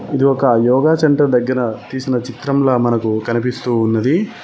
ఇది ఒక యోగ సెంటర్ దగ్గర తీసిన చిత్రంలా మనకు కనిపిస్తూ ఉన్నది.